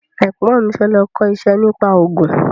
Ẹ̀gbọ́n mi fẹ́ lọ kọ́ iṣẹ́ nípa ògùn